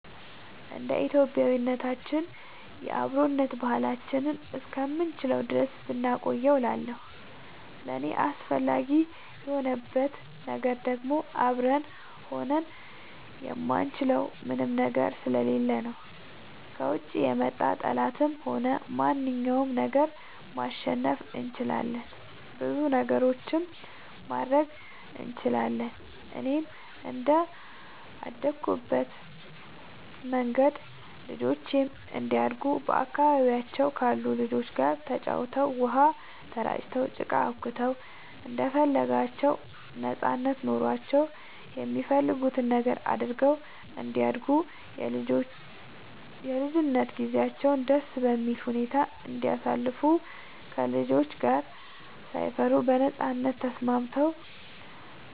እንደ ኢትዮጵያዊነታችን የአብሮነት ባህላችንን እስከምንችለው ድረስ ብናቆየው እላለሁኝ። ለእኔ አስፈላጊ የሆንበት ነገር ደግሞ አብረን ሆነን የማንችለው ምንም ነገር ስለሌለ ነው። ከውጭ የመጣ ጠላትንም ሆነ ማንኛውንም ነገር ማሸነፍ እንችላለን ብዙ ነገሮችንም ማድረግ ስለምንችል፣ እኔም እንደአደኩበት መንገድ ልጆቼም እንዲያድጉ በአካባቢያቸው ካሉ ልጆች ጋር ተጫውተው, ውሃ ተራጭተው, ጭቃ አቡክተው እንደፈለጋቸው ነጻነት ኖሯቸው የሚፈልጉትን ነገር አድርገው እንዲያድጉ የልጅነት ጊዜያቸውን ደስ በሚል ሁኔታ እንዲያሳልፉ ከልጆች ጋር ሳይፈሩ በነጻነት ተስማምተው